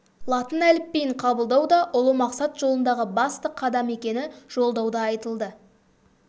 латын әліпбиін қабылдау да ұлы мақсат жолындағы басты қадам екені жолдауда айтылды